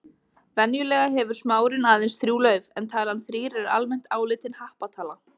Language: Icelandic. Venjulega hefur smárinn aðeins þrjú lauf en talan þrír er almennt álitin happatala.